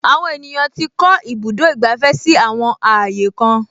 Àwọn ènìyàn tí kọ́ ibùdó ìgbàfẹ́ si àwọn ààyè kan